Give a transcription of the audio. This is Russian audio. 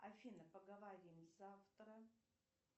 афина поговорим завтра